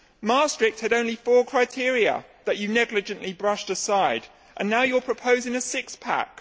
Maastricht had only four criteria, that you negligently brushed aside, and now you are proposing a six pack.